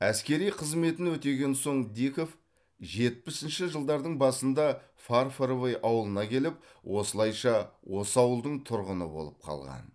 әскери қызметін өтеген соң диков жетпісінші жылдардың басында фарфоровый ауылына келіп осылайша осы ауылдың тұрғыны болып қалған